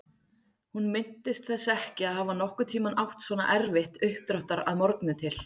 Hún minntist þess ekki að hafa nokkurn tímann átt svona erfitt uppdráttar að morgni til.